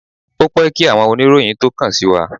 Ó pẹ́ kí àwọn oníròyìn tó kàn sí wa.